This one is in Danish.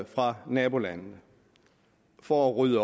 fra nabolandene for at rydde